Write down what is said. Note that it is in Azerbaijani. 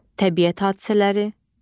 Təbiət hadisələri.